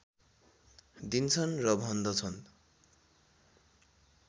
दिन्छन् र भन्दछन्